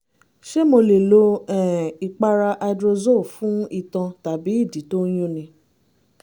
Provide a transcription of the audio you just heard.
ṣé mo lè lo um ìpara hydrozole fún itan tàbí ìdí tó ń yúnni?